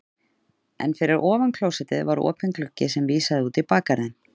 En fyrir ofan klósettið var opinn gluggi sem vísaði út í bakgarðinn.